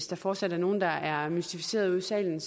der fortsat er nogen der er mystificerede i salen